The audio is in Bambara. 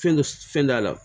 Fɛn dɔ fɛn t'a la